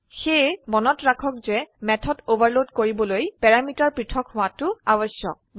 000854 000804 সেয়ে মনত ৰাখক যে মেথড ওভাৰলোড কৰিবলৈ প্যাৰামিটাৰ পৃথক হোৱাটো আবশ্যক